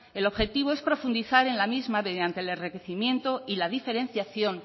el objetivo es profundizar en la misma mediante el enriquecimiento y la diferenciación